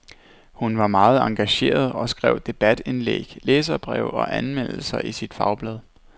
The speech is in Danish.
Hun var meget engageret og skrev debatindlæg, læserbreve og anmeldelser i sit fagblad.